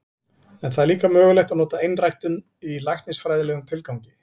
En það er líka mögulegt að nota einræktun í læknisfræðilegum tilgangi.